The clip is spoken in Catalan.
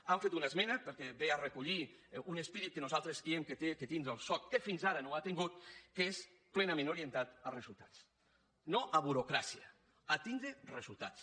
hem fet una esmena perquè ve a recollir un esperit que nosaltres creiem que ha de tindre el soc que fins ara no ha tingut que és plenament orientat a resultats no a burocràcia a tindre resultats